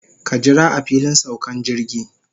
Ka jira a filin saukan jirgi.